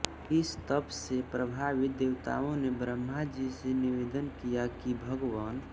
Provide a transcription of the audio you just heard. इस तप से प्रभावित देवताओं ने ब्रह्माजी से निवेदन किया कि भगवन्